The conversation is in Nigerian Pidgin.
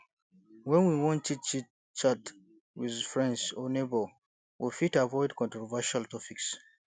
when we wan chit chit chat with friends or neighbour we fit avoid controversial topics